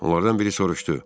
Onlardan biri soruşdu.